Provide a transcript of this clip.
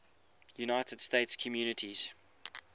united states communities